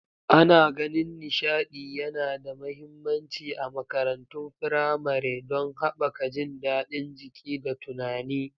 Ana ganin nishaɗi yana da mahimmanci a makarantun firamare don haɓaka jin daɗin jiki da tunani.